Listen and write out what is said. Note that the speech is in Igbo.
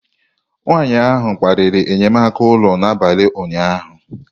Nwanyị ahụ kparịrị enyemaka ụlọ n'abalị ụnyaahụ